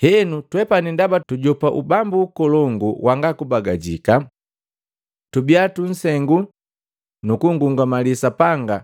Henu twepani ndaba tujopa ubambu nkolongu wanga kubagajika. Tubia tunsengu nu kunngungamali Sapanga